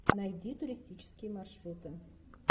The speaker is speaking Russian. найди туристические маршруты